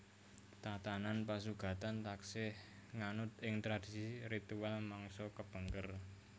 Tatanan pasugatan taksih nganut ing tradisi ritual mangsa kapengker